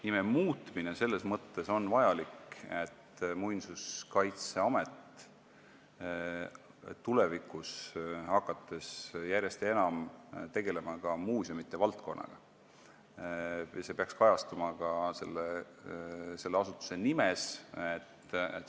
Nime muutmine on selles mõttes vajalik, et kui Muinsuskaitseamet hakkab tulevikus järjest enam tegelema muuseumide valdkonnaga, siis see peaks kajastuma ka selle asutuse nimes.